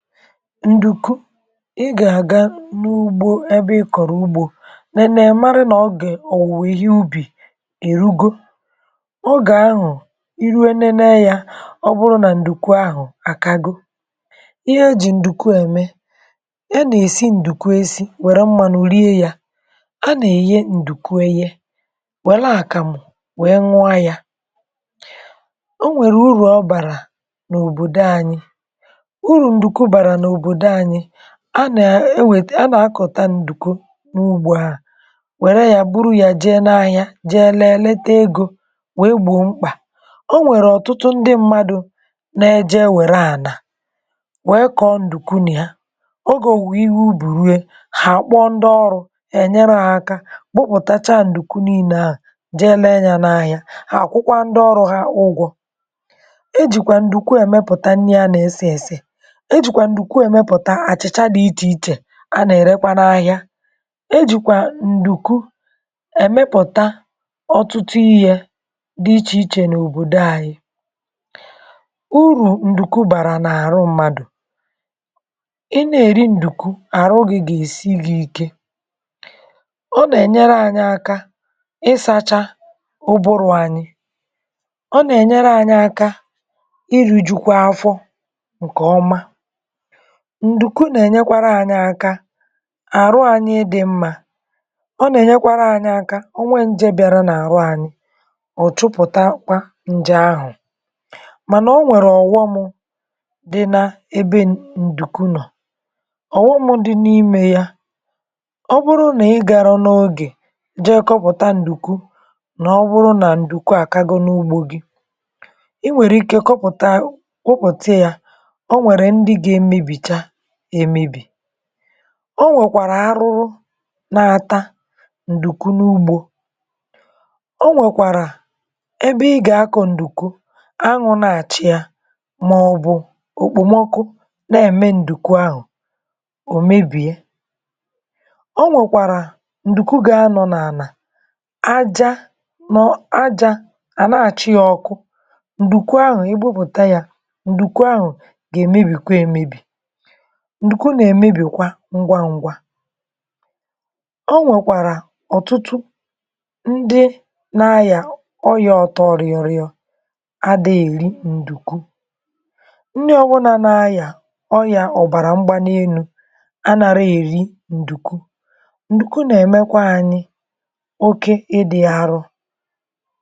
ǹdùku, ị gà-àga n’ugbo ẹbẹ ị kọ̀rọ̀ ugbȯ, nẹnẹ mara nà ọ gà-è-ọ̀wùwọ̀, ihe ubì èrugo, ọ gà-àhụ̀ iru nẹnẹ yȧ. ọ bụrụ nà ǹdùku ahụ̀ àkago, ihe ejì ǹdùku ẹ̀mẹ, a nà-èsi ǹdùku esi, wẹ̀rẹ mmanụ̇ rie yȧ, a nà-èye ǹdùkù ẹyẹ, wẹ̀lẹ àkàmụ̀, wẹ̀ẹ nwa yȧ. o nwèrè urù ọ bàrà n’òbòdò anyị̇; a nà-ewèta, a nà-akọ̀ta ǹdùkwu n’ugbȯ ahụ̀, wère yȧ buru yȧ jee n’ahịa, jee leleta egȯ, wee gbò mkpà. o nwèrè ọ̀tụtụ ndị mmadụ̇ na-eje ewère ànà wee kọ̀ọ ǹdùkwu nà ya; ogȯwù ihe ubì rue hà àkpụ ọrụ̇, è nyere hȧ aka, kpụkpọtacha ǹdùkwu niilė ahụ̀, jee lẹ yȧ n’ahịa, hà àkwụkwa ndị ọrụ̇ hȧ ụgwọ̇. e jìkwà ǹdùkwu èmẹpụ̀ta nni a nà-ẹsẹ-ẹsẹ, ǹkwu èmepụ̀ta àchịcha dị̇ ichè ichè, a nà-èrekwana ahịȧ. ejìkwà ǹdùkwu èmepụ̀ta ọtụtụ ihė dị̇ ichè ichè n’òbòdo anyị̇. urù ǹdùkwu bàrà n’àrụ mmadụ̀, um ị nà-èri ǹdùkwu, àrụ gị̇ gà-èsi gị ike; ọ nà-ènyere anyị̇ aka ịsȧcha ụbụrụ̇ anyị̇, ọ nà-ènyere anyị̇ aka iru̇, jùkwa afọ ǹkè ọma. ǹdùku nà-ènyekwara anyị̇ aka, àrụ anyị̇ dị mmȧ, ọ nà-ènyekwara anyị̇ aka ọnwe njėbị̀ara n’àrụ anyị̇, ọ̀ chụpụ̀takwa nje ahụ̀. mànà o nwèrè ọ̀ghọm dị n’ebe ǹdùku nọ̀; ọ̀ghọm dị n’imė ya bụ̀ nà ọ bụrụ nà ị garọ n’ogè, jee kọpụ̀ta ǹdùku, nà ọ bụrụ nà ǹdùku àkago n’ugbȯ gị̇, i nwèrè ike kọpụ̀ta a ụpụta ya. o nwèkwàrà arụrụ nà-ata ǹdùkwu n’ugbȯ; o nwèkwàrà ebe ị gà-akọ̀ ǹdùkwu. anwụ̇ na-àcha ya, màọ̀bụ̀ òkpòmọkụ na-ème ǹdùkwu ahụ̀ òmebìe. o nwèkwàrà ǹdùkwu gà-ȧnọ̇ n’ànà aja, nọ ajȧ, àna-àcha ya ọkụ; ǹdùkwu ahụ̀ ebe a pụ̀ta yȧ, ǹdùkwu ahụ̀ gà-èmebì kwa emebì. ǹdùkwu nà-èmebìkwa ngwa ngwa. ọ nwèkwàrà ọ̀tụtụ ndị nȧ-ayà ọyȧ ọtọ̇ọ̇rịọ̇rịọ̇ adà, èri ǹdùkwu nni ọbụna nȧ-ayà ọyà ọ̀bàrà mgbanee nụ̇, anȧra èri ǹdùkwu. ǹdùkwu nà-èmekwa anyị oke ịdị̇ arọ̇.